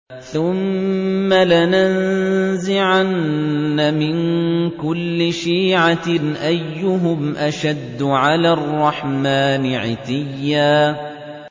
ثُمَّ لَنَنزِعَنَّ مِن كُلِّ شِيعَةٍ أَيُّهُمْ أَشَدُّ عَلَى الرَّحْمَٰنِ عِتِيًّا